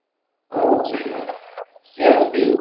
ওহ হ্যাঁ CSP